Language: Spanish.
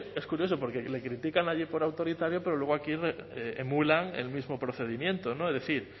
es curioso porque le critican allí por autoritario pero luego aquí emulan el mismo procedimiento es decir